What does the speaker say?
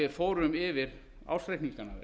við fórum yfir ársreikningana